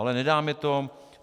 Ale nedá mi to.